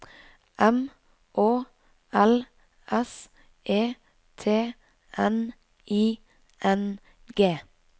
M Å L S E T N I N G